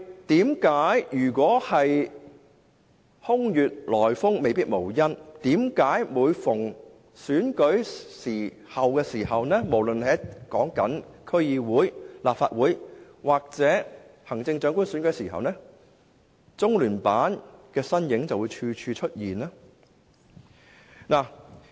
但是，空穴來風未必無因，每逢選舉，無論是區議會、立法會或行政長官選舉，為何中聯辦的身影就會無處不在？